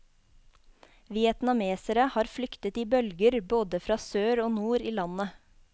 Vietnamesere har flyktet i bølger, både fra sør og nord i landet.